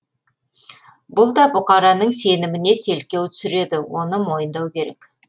бұл да бұқараның сеніміне селкеу түсіреді оны мойындау керек